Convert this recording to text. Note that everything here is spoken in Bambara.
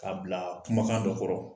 K'a bilaa kumakan dɔ kɔrɔ.